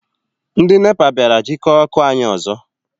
Ndị NEPA bịara jikọọ ọkụ anyị ọzọ.